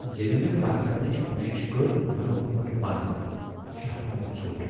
ییلہِ مے٘ كتھ كرنٕچ كوشِش كٕر مے٘ گۄ ہو٘ٹ بند ، شاہ گوم ژھوٚٹ ۔